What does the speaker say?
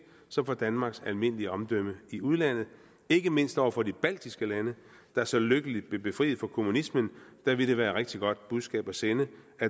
som for danmarks almindelige omdømme i udlandet ikke mindst over for de baltiske lande der så lykkeligt blev befriet for kommunismen ville det være et rigtig godt budskab at sende at